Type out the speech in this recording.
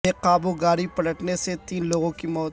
بے قابو گاڑی پلٹنے سے تین لوگوں کی موت